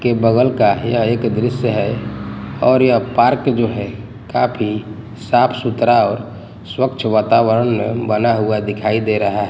के बगल का यह एक दृश्य है और यह पार्क जो है काफी साफ सुथरा और स्वच्छ वातावरण में बना हुआ दिखाई दे रहा--